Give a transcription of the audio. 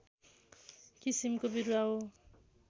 किसिमको बिरुवा हो